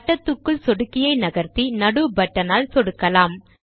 வட்டத்துக்குள் சொடுக்கியை நகர்த்தி நடு பட்டன் ஆல் சொடுக்கலாம்